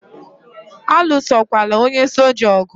Alụsokwala onye soja ogu!